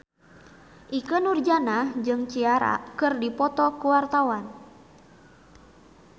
Ikke Nurjanah jeung Ciara keur dipoto ku wartawan